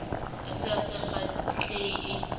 a se a sa kgahlehe